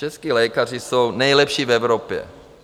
Čeští lékaři jsou nejlepší v Evropě.